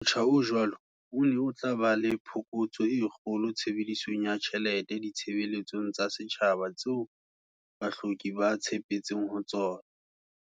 Motjha o jwalo o ne o tla ba le phokotso e kgolo tshebedisong ya tjhelete ditshebeletsong tsa setjhaba tseo bahloki ba tshepetseng ho tsona.